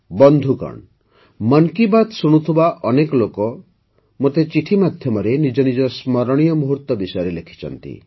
ବନ୍ଧୁଗଣ ମନ୍ କି ବାତ୍ ଶୁଣୁଥିବା ଅନେକ ଲୋକ ମୋତେ ଚିଠି ମାଧ୍ୟମରେ ନିଜ ନିଜ ସ୍ମରଣୀୟ ମୁହୂର୍ତ୍ତ ବିଷୟରେ ଲେଖିଛନ୍ତି